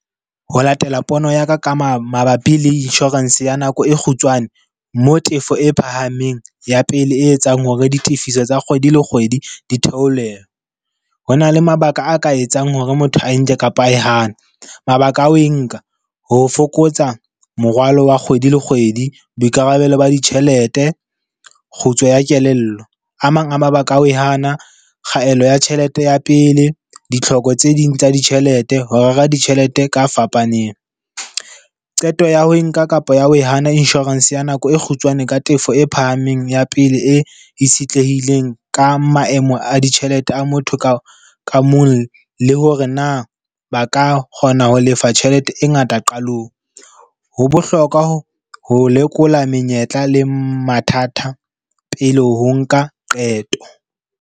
Ho latela pono ya ka ka ma mabapi le insurance ya nako e kgutshwane. Mo tefo e phahameng ya pele e etsang hore ditifiso tsa kgwedi le kgwedi di theolelo. Ho na le mabaka a ka etsang hore motho a enke kapa e hane. Mabaka a ho e nka, ho fokotsa morwalo wa kgwedi le kgwedi, boikarabelo ba ditjhelete, kgutso ya kelello. A mang a mabaka a ho e hana, kgaello ya tjhelete ya pele, ditlhoko tse ding tsa ditjhelete, ho rera ditjhelete ka fapaneng. Qeto ya ho nka kapa ya ho e hana insurance ya nako e kgutshwane ka tefo e phahameng ya pele e itshetlehileng ka maemo a ditjhelete a motho ka mong, le hore na ba ka kgona ho lefa tjhelete e ngata qalong. Ho bohlokwa ho ho lekola menyetla le mathata pele ho nka qeto.